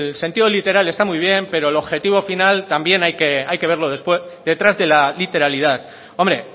sentido literal está muy bien pero el objetivo final también hay que verlo después detrás de la literalidad hombre